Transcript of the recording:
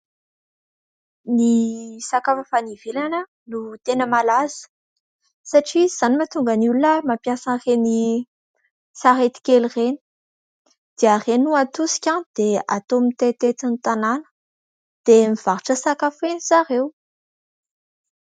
Ny sakafo avy any ivelany no tena malaza, satria izany no mahatonga ny olona mampiasa an'ireny sarety kely ireny dia ireny no atosika dia atao mitetitety ny tanàna, dia mivarotra sakafo eny zareo.